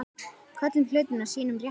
Köllum hlutina sínum réttu nöfnum.